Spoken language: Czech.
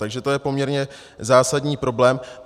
Takže to je poměrně zásadní problém.